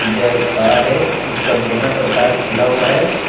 यह एक कार है जिसका बोनट और टायर खुला हुआ है।